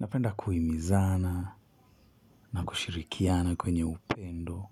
Napenda kuhimizana na kushirikiana kwenye upendo.